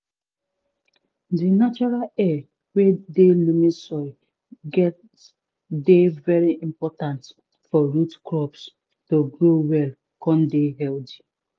di natural air wey dey loamy soil get dey very important for root crops to grow well con dey healthy